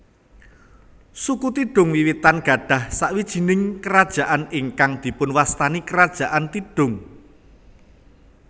Suku Tidung wiwitan gadhah sawijining kerajaan ingkang dipunwastani Kerajaan Tidung